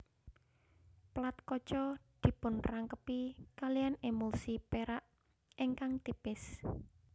Plat kaca dipunrangkepi kaliyan emulsi perak ingkang tipis